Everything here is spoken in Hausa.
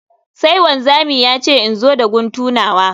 Sai wanzami ya ce in zo da guntu nawa